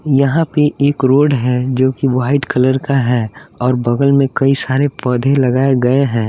यहाँ पे एक रोड है जो कि वाइट कलर का है और बगल में कई सारे पौधे लगाए गए हैं।